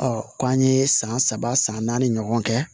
k'an ye san saba san naani ɲɔgɔn kɛ